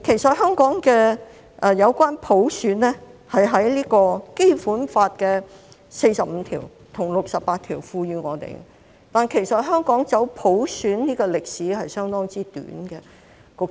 至於普選，是《基本法》第四十五條和第六十八條賦予香港的，但香港走普選的歷史相當短。